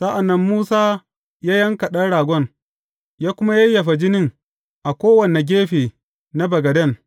Sa’an nan Musa ya yanka ɗan ragon, ya kuma yayyafa jinin a kowane gefe na bagaden.